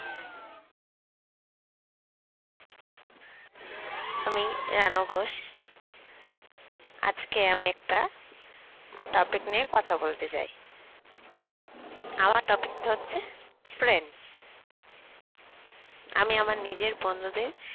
আমি রানু ঘোষ আজকে আমি একটা topic নিয়ে কথা বলতে চাই আমার topic টা হচ্ছে friends আমি আমার নিজের বন্ধুদের